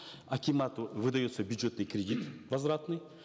акимату выдается бюджетный кредит возвратный